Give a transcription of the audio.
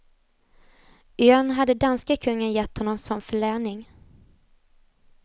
Ön hade danske kungen gett honom som förläning.